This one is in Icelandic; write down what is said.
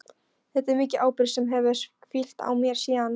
Þetta er mikil ábyrgð sem hefur hvílt á mér síðan.